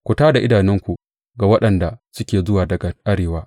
Ku tā da idanunku ku ga waɗanda suke zuwa daga arewa.